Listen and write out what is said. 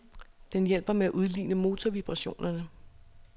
Den hjælper med at udligne motorvibrationer.